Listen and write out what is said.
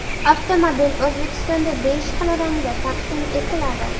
Avtomobil O‘zbekistonda besh xil rangda taqdim etiladi.